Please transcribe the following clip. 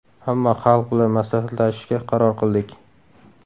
Ammo xalq bilan maslahatlashishga qaror qildik.